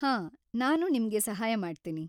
ಹಾಂ, ನಾನು ನಿಮ್ಗೆ ಸಹಾಯ ಮಾಡ್ತೀನಿ.